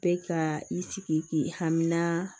Bɛ ka i sigi k'i hamina